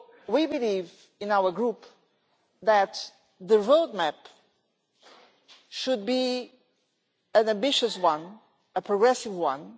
We believe in our Group that the road map should be an ambitious one, a progressive one.